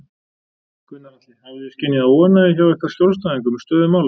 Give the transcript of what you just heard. Gunnar Atli: Hafið þið skynjað óánægju hjá ykkar skjólstæðingum með stöðu mála?